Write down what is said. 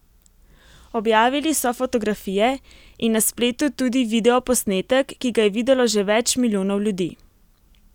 Objavili so fotografije in na spletu tudi videoposnetek, ki ga je videlo že več milijonov ljudi.